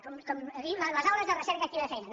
com en diu les aules de recerca activa de feina